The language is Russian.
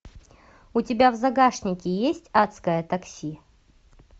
у тебя в загашнике есть адское такси